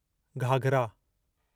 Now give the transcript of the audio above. घाघरा